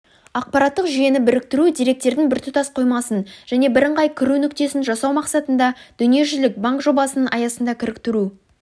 ақпараттық жүйені біріктіру деректердің біртұтас қоймасын және бірыңғай кіру нүктесін жасау мақсатында дүниежүзілік банкжобасының аясында кіріктіру